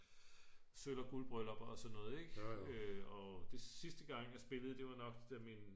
sølv- og guldbryllup og sådan noget ik og sidste gang jeg spillede det var nok da min